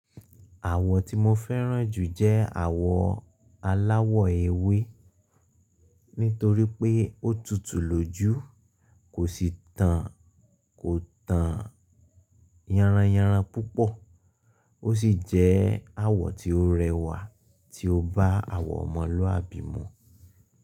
Àwọ̀ tí mo fẹ́ràn jù jẹ́ àwọ̀ aláwọ̀ ewé nítorí pé ó tutù lójú, kò sì tàn kó tàn yanran yanran púpọ̀. Ó sì jẹ́ àwọ̀ tí ó rẹwà tí ó bá àwọ̀ ọmọlúàbí mu.